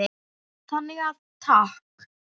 Þannig að takk.